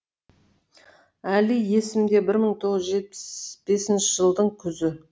әлі есімде бір мың тоғыз жүз жетпіс бесінші жылдың күзі